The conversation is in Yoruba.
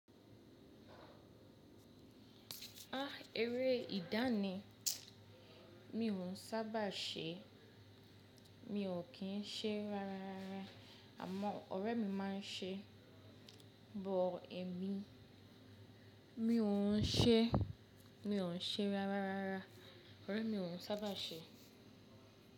Ah! Eré ìdá ni. Mi ò sábà ṣe, mi ò kín ṣe ráráá, àmọ́ ọ̀rẹ́ mi máa ń ṣe. But, èmi, mi ò ún ṣe, mi ò ún ṣe ráráá, ọ̀rẹ́ mi ò ún sábà ṣe.